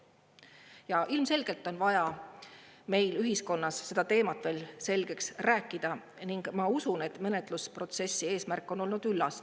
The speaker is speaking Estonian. Ja ilmselgelt on vaja meil ühiskonnas seda teemat veel selgeks rääkida ning ma usun, et menetlusprotsessi eesmärk on olnud üllas.